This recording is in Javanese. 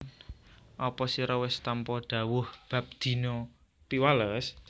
Apa sira wis tampa dhawuh bab dina Piwales